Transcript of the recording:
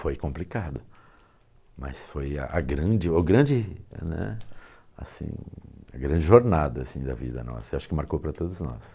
Foi complicado, mas foi a a grande, o grande, né, assim, a grande jornada da vida nossa, acho que marcou para todos nós.